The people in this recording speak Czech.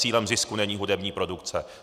Cílem zisku není hudební produkce.